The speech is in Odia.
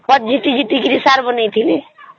ଖତ ଝିଟି ଝିଟି କରି ସାର ବନାଉଥିଲେ